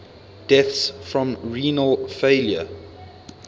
deaths from renal failure